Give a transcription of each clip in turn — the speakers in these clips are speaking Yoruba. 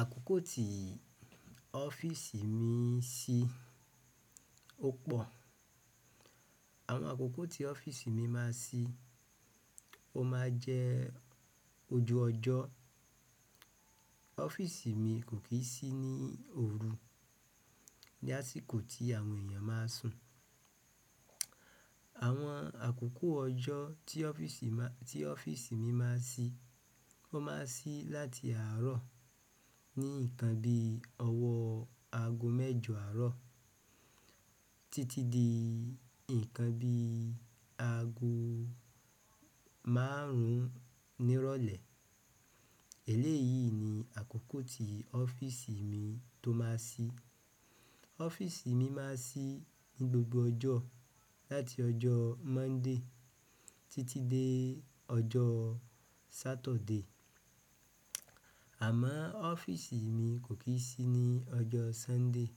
Àkókò tí ọ́fìsì mi ṣí ó pọ. Àwọn àkókò tí ọ́fìsì mi máa n ṣí, ó máa jẹ́ ojú ọjọ́. Ọ́fìsì mi kò kì í sí ní òru, ní àsìkò tí àwọn èèyàn máa sùn. Àwọn àkókò ọjọ́ tí ọ́fìsì máa, tí ọ́fìsì mi máa ṣí, ó máa ṣí láti àárọ̀ ní ìkan bí ọwọ́ aago mẹ́jọ àárọ̀ titi di nkan bi agoo márùn un ni ìrọ̀lẹ́. Èlé yìí ni àkókò tí ọ́fìsì mi tó máa ṣí. Ọ́fìsì mi máa ṣí ní gbogbo ọjọ́ láti ọjọ́ Monday títí dé ọjọ́ Saturday. Àmọ́ ọ́fìsì mi kò kì í ṣí ní ọjọ́ Sunday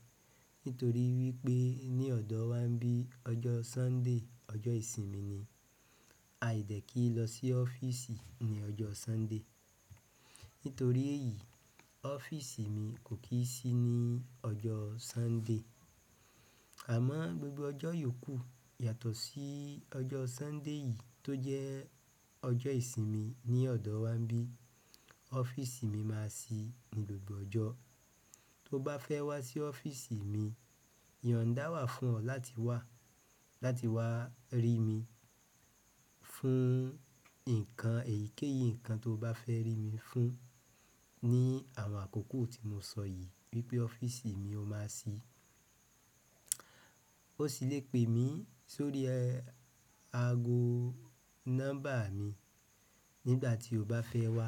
nítorí wípé ní ọ̀dọ̀ wa n bí i ọjọ́ Sunday ọjọ́ ìsinmi ni. A dẹ̀ kí í lọ sí ọ́fìsì ní ọjọ́ Sunday. Nítorí èyí, ọ́fìsì mi kò kì í ṣí ní ọjọ́ Sunday. Àmọ́ gbogbo ọjọ́ yòókù yàtọ̀ sí ọjọ́ Sunday yìí tó jẹ́ ọjọ́ ìsinmi ní ọ̀dọ̀ wa n bí ọ́fìsì mi máa ṣí ní gbogbo ọjọ́. Tó bá fẹ́ wá sí ọ́fìsì mi, yo n dáwà fún ọ láti wá, láti wá rí mi fún nǹkan èyíkéyìí nǹkan tó bá fẹ́ rí mi fún ní àwọn àkókò tí mo sọ yìí wípé ọ́fìsì mi ó máa ṣí. Ó sì le pè mí sórí ago nọ́mbà mi nígbà tí o bá fẹ́ wá.